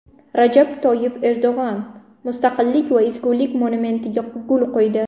Rajab Toyyib Erdo‘g‘on Mustaqillik va ezgulik monumentiga gul qo‘ydi.